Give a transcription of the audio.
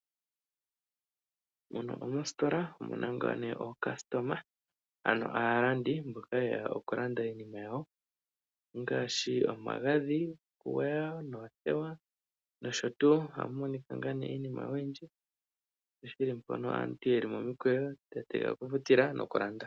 Muno omositola omuna ngaa nee ookasitoma ano aalandi mboka yeya okulanda iinima yawo ngaashi omagadhi gokugwaya noothewa osho tuu. Amumonika ngaa nee iinima oyindji shi shili mpono aantu yeli momukweyo ya tegelela okufutila noku landa.